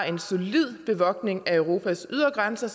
en solid bevogtning af europas ydre grænser